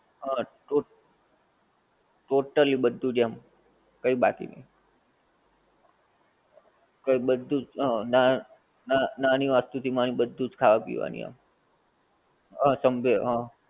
હા ટો totally બધુંજ આમ કહી બાકી નહીં, કઈ બધુંજ અ ના નાની વાત સુ ધી બધુંજ ખાવા પીવા ની આમ, હા સમજે હા